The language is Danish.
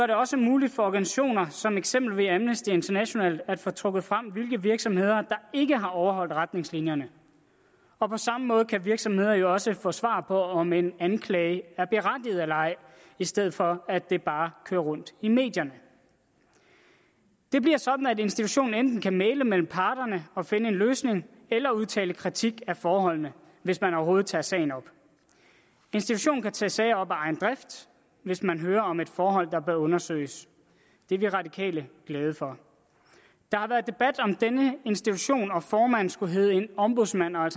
det også muligt for organisationer som eksempelvis amnesty international at få trukket frem hvilke virksomheder der ikke har overholdt retningslinjerne og på samme måde kan virksomheder jo også få svar på om en anklage er berettiget eller ej i stedet for at det bare kører rundt i medierne det bliver sådan at institutionen enten kan mægle mellem parterne og finde en løsning eller udtale kritik af forholdene hvis man overhovedet tager sagen op institutionen kan tage sager op af egen drift hvis man hører om et forhold der bør undersøges det er vi radikale glade for der har været debat om denne institution og formanden skulle hedde en ombudsmand og